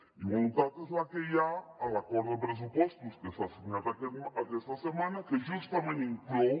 i voluntat és la que hi ha en l’acord de pressupostos que s’ha signat aquesta setmana que justament inclou